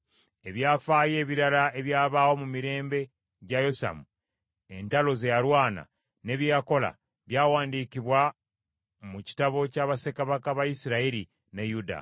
Ebyafaayo ebirala ebyabaawo mu mirembe gya Yosamu, entalo ze yalwana, ne bye yakola, byawandiikibwa mu kitabo kya Bassekabaka ba Isirayiri ne Yuda.